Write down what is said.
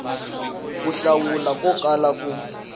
ku hlawula ko kala ku